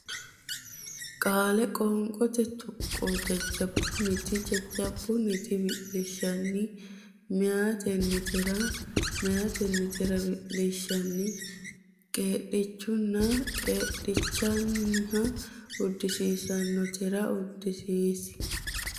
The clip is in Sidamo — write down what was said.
Qaale Qoonqote Tuqqo jajjabbunniti jaj jab bun ni ti wilishshanni me ya ten ni te ra meyatennitera wi lish shan ni qeedhichahonna qee dhi cha hon na uddisiinsoonnitera ud di siin.